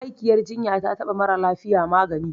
Ma'aikiyar jinya taba mara lafiya magani